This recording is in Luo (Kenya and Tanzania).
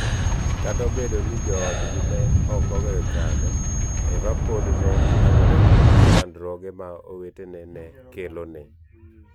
Kata obedo ni joodgi ne ok oweyo chande, Eva pod ne nyagore gi chandruoge ma owetene ne kelone.